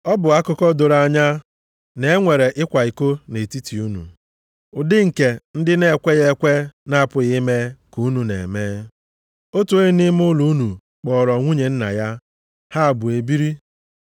Ọ bụ akụkọ doro anya na-enwe ịkwa iko nʼetiti unu, ụdị nke ndị na-ekweghị ekwe na-apụghị ime, ka unu na-eme. Otu onye nʼime ụlọ unu kpọọrọ nwunye nna ya, ha abụọ e biri.